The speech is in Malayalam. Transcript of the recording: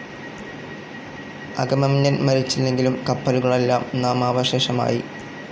അഗമെമ്നൻ മരിച്ചില്ലെങ്കിലും കപ്പലുകളെല്ലാം നാമാവശേഷമായി.